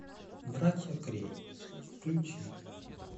братья крэй включи